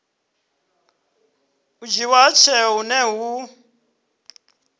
dzhiiwa ha tsheo hune hu